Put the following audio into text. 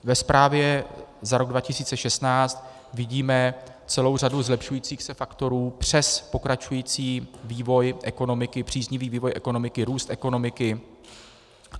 Ve zprávě za rok 2016 vidíme celou řadu zlepšujících se faktorů přes pokračující vývoj ekonomiky, příznivý vývoj ekonomiky, růst ekonomiky.